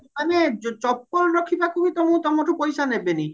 ମାନେ ଚପଲ ରଖିବାକୁ ବି ତମ ତମଠୁ ପଇସା ନେବେନି